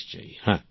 প্রেম জী হ্যাঁ